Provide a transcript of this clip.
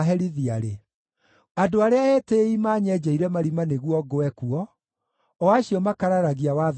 Andũ arĩa etĩĩi manyenjeire marima nĩguo ngwe kuo, o acio makararagia watho waku.